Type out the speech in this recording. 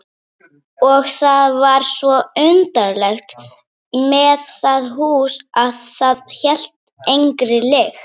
Og það var svo undarlegt með það hús að það hélt engri lykt.